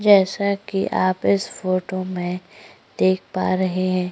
जैसा कि आप इस फोटो में देख पा रहे हैं।